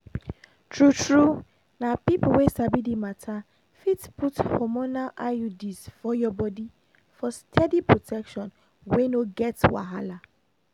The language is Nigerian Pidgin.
true-true na people wey sabi the matter fit put hormonal iuds for your body for steady protection wey no get wahala